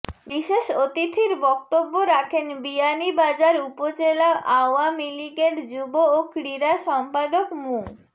বিশেষ অতিথির বক্তব্য রাখেন বিয়ানীবাজার উপজেলা আওয়ামীলীগের যুব ও ক্রীড়া সম্পাদক মু